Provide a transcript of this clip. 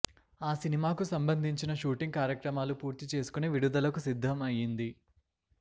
ఆ సినిమాకు సంబంధించిన షూటింగ్ కార్యక్రమాలు పూర్తి చేసుకుని విడుదలకు సిద్దం అయ్యింది